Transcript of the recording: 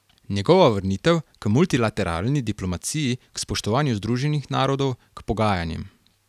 Njegova vrnitev k multilateralni diplomaciji, k spoštovanju Združenih narodov, k pogajanjem ...